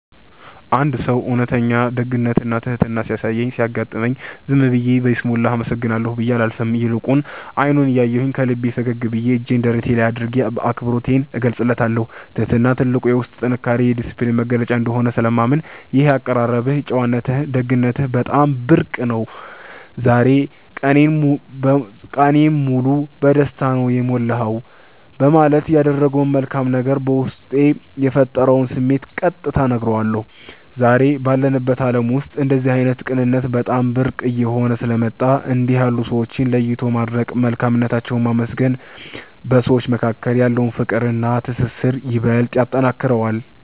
አንድ ሰው እውነተኛ ደግነትና ትሕትና ሲያሳይ ሲያጋጥመኝ፣ ዝም ብዬ በይስሙላ “አመሰግናለሁ” ብዬ አላልፍም፤ ይልቁኑ አይኑን እያየሁ፣ ከልቤ ፈገግ ብዬና እጄን ደረቴ ላይ አድርጌ አክብሮቴን እገልጽለታለሁ። ትሕትና ትልቅ የውስጥ ጥንካሬና የዲስፕሊን መገለጫ እንደሆነ ስለማምን፣ “ይህ የአቀራረብህ ጨዋነትና ደግነትህ በጣም ብርቅ ነው፤ ዛሬ ቀኔን ሙሉ በደስታ ነው የሞላኸው” በማለት ያደረገው መልካም ነገር በውስጤ የፈጠረውን ስሜት ቀጥታ እነግረዋለሁ። ዛሬ ባለንበት ዓለም ውስጥ እንደዚህ ዓይነት ቅንነት በጣም ብርቅ እየሆነ ስለመጣ፣ እንዲህ ያሉ ሰዎችን ለይቶ ማድነቅና መልካምነታቸውን ማመስገን በሰዎች መካከል ያለውን ፍቅርና ትስስር ይበልጥ ያጠነክረዋል።